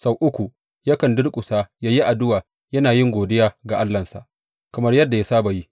Sau uku yakan durƙusa yă yi addu’a yana yin godiya ga Allahnsa, kamar yadda ya saba yi.